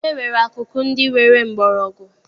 E nwere akụkụ ndị nwere mgbọrọgwụ.